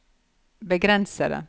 begrensede